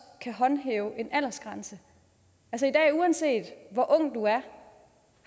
kan håndhæve en aldersgrænse uanset hvor ung du er